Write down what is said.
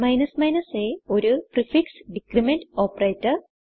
aഒരു prefix decrement operator